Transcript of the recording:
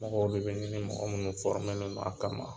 Mɔgɔw de bɛ ɲini mɔgɔ minnu len don a kama